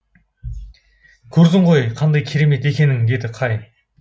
көрдің ғой қандай тамаша екенін деді кай